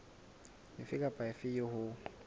efe kapa efe eo ho